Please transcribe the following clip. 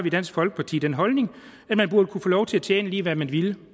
i dansk folkeparti den holdning at man burde kunne få lov til at tjene lige hvad man ville